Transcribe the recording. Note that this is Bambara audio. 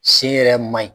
Sen yɛrɛ man ɲi